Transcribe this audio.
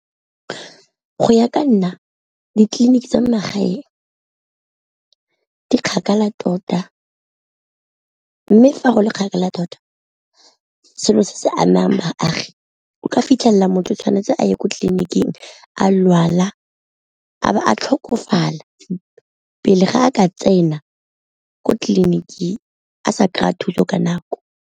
Go ya ka nna ditleliniki tsa magaeng di kgakala tota, mme fa go le kgakala tota selo se se amang baagi, o ka fitlhela motho o tshwanetse a ye ko tleliniking a lwala a bo a tlhokofala pele ga a ka tsena ko tleliniking a sa kry-a thuso ka nako.